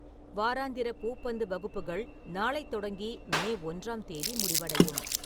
வாராந்திர பூப்பந்து வகுப்புகள் நாளை தொடங்கி மே ஒன்றாம் தேதி முடிவடையும்